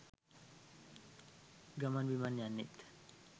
ගමන් බිමන් යන්නෙත්